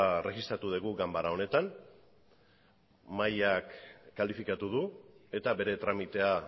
erregistratu dugu ganbara honetan mahaiak kalifikatu du eta bere tramitea